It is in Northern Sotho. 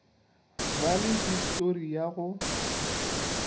ba le histori ya go